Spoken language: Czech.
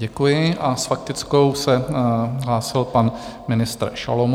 Děkuji a s faktickou se hlásil pan ministr Šalomoun.